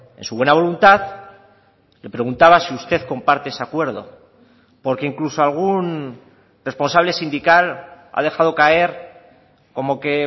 en su buena voluntad me preguntaba si usted comparte ese acuerdo porque incluso algún responsable sindical ha dejado caer como que